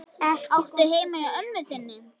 Áttu heima hjá ömmu þinni?